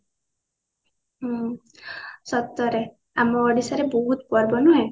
ହୁଁ ସତରେ ଆମ ଓଡିଶା ରେ ବହୁତ ପର୍ବ ନୁହେଁ